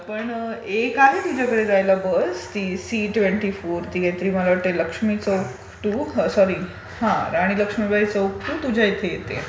पण एक आहे तुझ्याकडे जायला बस सी ट्वेंटी फोर ती काहीतरी मला वाटते Lakshmi Chowk to sorry Rani Laxmibai Chowk to तुझ्याकडे येते.